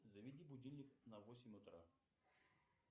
заведи будильник на восемь утра